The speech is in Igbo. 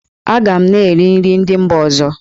Aga m na-eri nri ndị mba ọzọ.